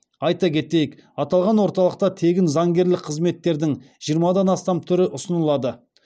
айта кетейік аталған орталықта тегін заңгерлік қызметтердің жиырмадан астам түрі ұсынылады